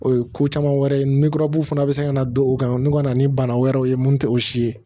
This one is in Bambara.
O ye ko caman wɛrɛ ye ni gɔɔrɔburu fana bɛ se ka na don o kan n'u ka na ni bana wɛrɛw ye mun tɛ o si ye